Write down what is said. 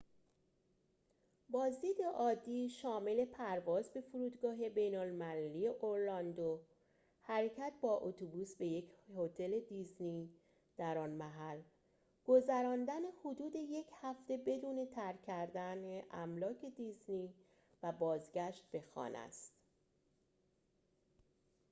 بازدید عادی شامل پرواز به فرودگاه بین‌المللی اورلاندو حرکت با اتوبوس به یک هتل دیزنی در آن محل گذراندن حدود یک هفته بدون ترک کردن املاک دیزنی و بازگشت به خانه است